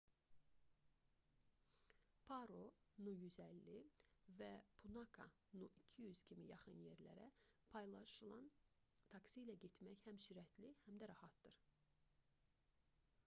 paro nu 150 və punakha nu 200 kimi yaxın yerlərə paylaşılan taksi ilə getmək həm sürətli həm də rahatdır